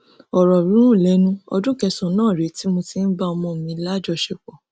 ọrọ rúnrún lẹnu ọdún kẹsànán rèé tí mo ti ń bá ọmọ mi láṣepọ